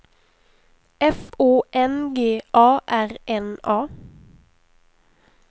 F Å N G A R N A